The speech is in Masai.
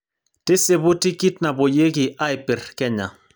tisipu tikit napuoyieki aipir kenya